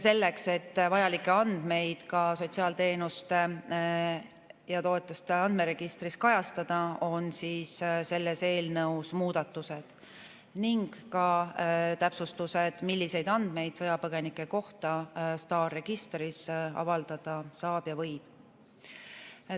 Selleks, et vajalikke andmeid ka sotsiaalteenuste ja ‑toetuste andmeregistris kajastada, on selles eelnõus muudatused ning ka täpsustused, milliseid andmeid sõjapõgenike kohta STAR-registris avaldada saab ja võib.